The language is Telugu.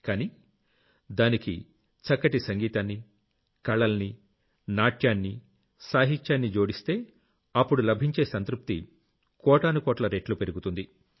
కానీ దానికి చక్కటి సంగీతాన్ని కళల్ని నాట్యాన్ని సాహిత్యాన్ని జోడిస్తే అప్పుడు లభించే సంతృప్తి కోటానుకోట్ల రెట్లు పెరుగుతుంది